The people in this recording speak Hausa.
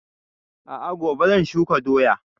A'a gobe zan shuka doyan